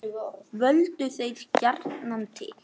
Völdu þeir gjarnan til